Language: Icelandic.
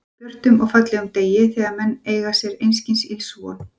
björtum og fallegum degi, þegar menn eiga sér einskis ills von.